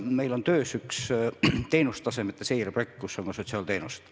Meil on töös üks teenustasemete seire projekt, kus on ka sotsiaalteenused.